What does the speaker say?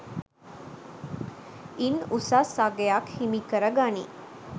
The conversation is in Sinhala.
ඉන් උසස් අගයක් හිමිකර ගනියි